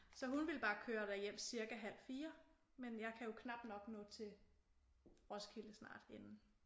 Så hun ville bare køre derhjem cirka halv 4 men jeg kan jo knap nok nå til Roskilde snart inden